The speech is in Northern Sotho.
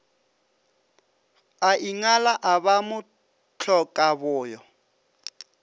a ingala a ba mohlokaboyo